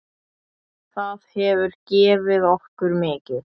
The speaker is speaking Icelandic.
Það hefur gefið okkur mikið.